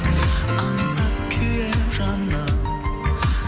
аңсап күйемін жаным